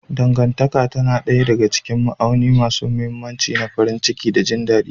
Dangantaka tana ɗaya daga cikin ma'auni masu mahimmanci na farin ciki da jin daɗi.